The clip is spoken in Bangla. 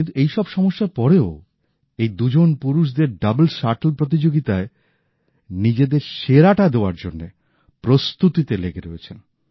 কিন্তু এই সব সমস্যার পরেও এই দুজন পুরুষদের ডাবলস শাট্ল প্রতিযোগিতায় নিজেদের সেরাটা দেওয়ার জন্য প্রস্তুতিতে লেগে রয়েছেন